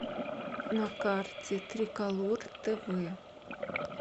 на карте триколор тв